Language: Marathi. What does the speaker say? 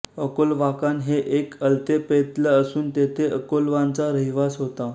अकोल्वाकान हे एक अल्तेपेत्ल असून तेथे अकोल्वांचा रहिवास होता